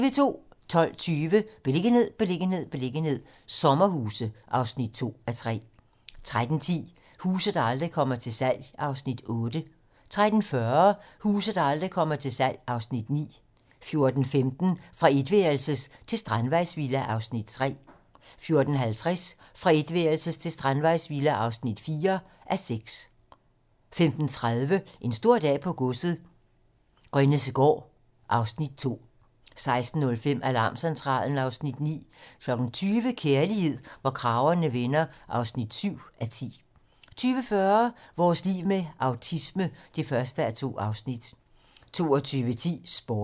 12:20: Beliggenhed, beliggenhed, beliggenhed - sommerhuse (2:3) 13:10: Huse, der aldrig kommer til salg (Afs. 8) 13:40: Huse, der aldrig kommer til salg (Afs. 9) 14:15: Fra etværelses til strandvejsvilla (3:6) 14:50: Fra etværelses til strandvejsvilla (4:6) 15:30: En stor dag på godset - Grønnessegaard (Afs. 2) 16:05: Alarmcentralen (Afs. 9) 20:00: Kærlighed, hvor kragerne vender (7:10) 20:40: Vores liv med autisme (1:2) 22:10: Sporten (tir)